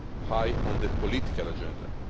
high on the political agenda.